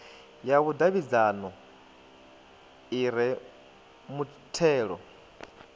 ya vhudavhidzano i re mutheo